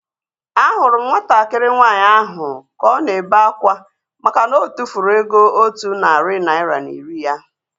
Ahụrụ m nwatakịrị nwaanyị ahu ka ọ na-ebe akwa makana otufuru ego otu narị naira na iri ya